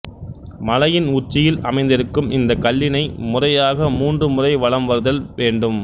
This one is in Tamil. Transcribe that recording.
மலையின் உச்சியில் அமைந்திருக்கும் இந்தக் கல்லினை முறையாக மூன்று முறை வலம் வருதல் வேண்டும்